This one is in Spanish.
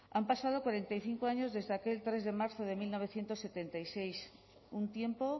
han pasado cuarenta y cinco años desde que el tres de marzo de mil novecientos setenta y seis un tiempo